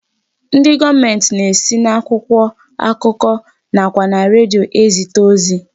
Ndị gọọmenti na-esi n'akwụkwọ akụkọ nakwa na redio e zite ozi.